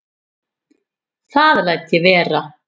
Það læt ég vera